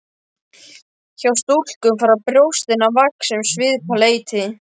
Hjá stúlkum fara brjóstin að vaxa um svipað leyti.